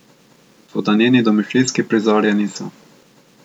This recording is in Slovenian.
Toda njeni domišljijski prizori je niso.